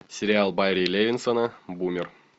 сериал барри левинсона бумер